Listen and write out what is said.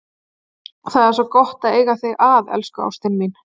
Það er svo gott að eiga þig að, elsku ástin mín.